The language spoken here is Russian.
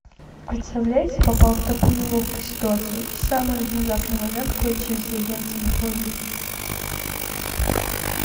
представляете попала в такую неловкую ситуацию в самый внезапный момент кончились деньги на телефоне